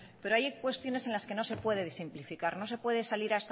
pero hay cuestiones en las que no se puede simplificar no se puede salir